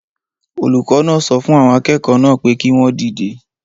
Olùkọ́ náà so fun àwọn akẹ́kọ̀ọ́ naa pe ki won dide